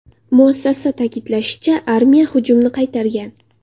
Muassasa ta’kidlashicha, armiya hujumni qaytargan.